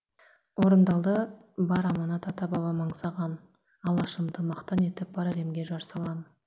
орындалды бар аманат ата бабам аңсаған алашымды мақтан етіп бар әлемге жар салам